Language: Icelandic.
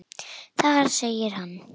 Þar segir hann